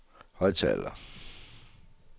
højttaler